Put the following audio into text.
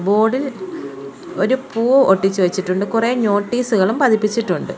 Board ഇൽ ഒരു പൂ ഒട്ടിച്ചു വെച്ചിട്ടുണ്ട് കുറെ നോട്ടീസുകളും പതിപ്പിച്ചിട്ടുണ്ട്.